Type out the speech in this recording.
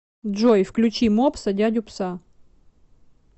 джой включи мопса дядю пса